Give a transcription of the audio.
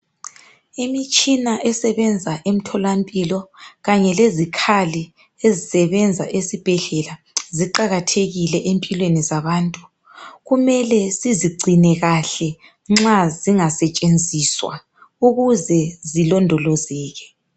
Imitshina esebenza emtholampilo kanye lezikhali ezisebenza esibhedlela ziqakathekile empilweni zabantu kumele sizigcine kahle nxa zingasetshenziswa ukuze zilondolozeke.